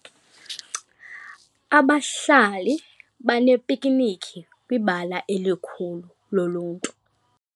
Abahlali baneepiknikhi kwibala elikhulu loluntu.